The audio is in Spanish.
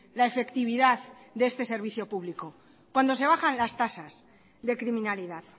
la efectividad de este servicio público cuando se bajan las tasas de criminalidad